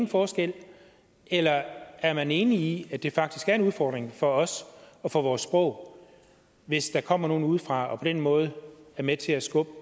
forskel eller er man enig i at det faktisk er en udfordring for os og for vores sprog hvis der kommer nogen udefra og på den måde er med til at skubbe